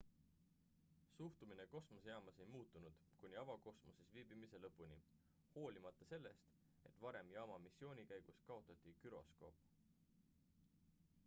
suhtumine kosmosejaamas ei muutunud kuni avakosmoses viibimise lõpuni hoolimata sellest et varem jaama missiooni käigus kaotati güroskoop